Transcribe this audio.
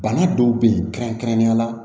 Bana dɔw be ye kɛrɛnkɛrɛnnenya la